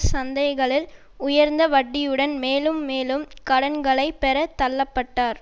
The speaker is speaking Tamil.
சந்தைகளில் உயர்ந்த வட்டியுடன் மேலும் மேலும் கடன்களை பெற தள்ள பட்டார்